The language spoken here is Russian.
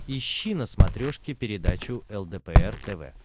ищи на смотрешке передачу лдпр тв